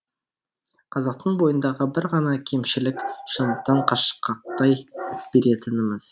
қазақтың бойындағы бір ғана кемшілік шындықтан қашқақтай беретініміз